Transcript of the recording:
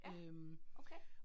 Ja, okay